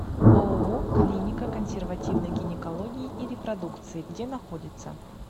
ооо клиника консервативной гинекологии и репродукции где находится